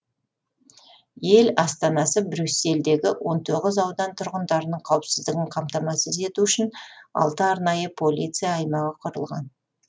ел астанасы брюссельдегі он тоғыз аудан тұрғындарының қауіпсіздігін қамтамасыз ету үшін алты арнайы полиция аймағы құрылған